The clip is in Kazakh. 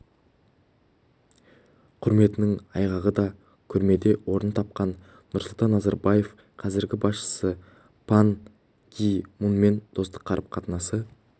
құрметінің айғағы да көрмеде орын тапқан нұрсұлтан назарбаевтың қазіргі басшысы пан ги мунмен достық қарым-қатынасы